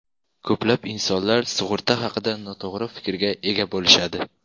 Ko‘plab insonlar sug‘urta haqida noto‘g‘ri fikrga ega bo‘lishadi.